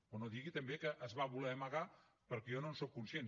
però no digui també que es va voler amagar perquè jo no en sóc conscient